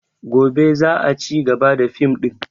Gobe za a cigaba da fim ɗin